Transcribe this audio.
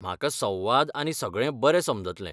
म्हाका संवाद आनी सगळें बरें समजतलें.